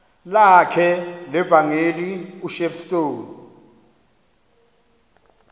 lakhe levangeli ushepstone